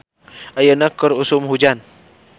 Ayeuna keur usum hujan